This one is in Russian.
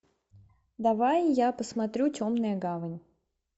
давай я посмотрю темная гавань